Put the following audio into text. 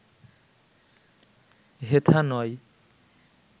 হেথা নয়